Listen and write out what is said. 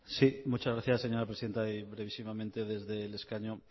sí muchas gracias señora presidenta y brevísimamente desde el escaño